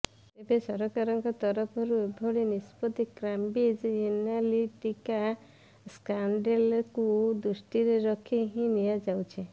ତେବେ ସରକାରଙ୍କ ତରଫରୁ ଏଭଳି ନିଷ୍ପତି କାମ୍ବ୍ରିଜ ଏନାଲିଟିକା ସ୍କାଣ୍ଡେଲକୁ ଦୃଷ୍ଟିରେ ରଖି ହିଁ ନିଆଯାଉଛି